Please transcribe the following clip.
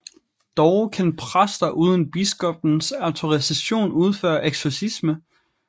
Dog kan præster uden biskoppens autorisation udføre eksorcisme